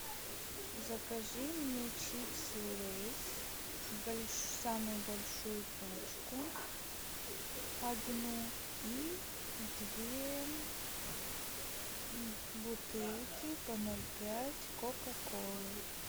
закажи мне чипсы лейс самую большую пачку одну и две бутылки по ноль пять кока колы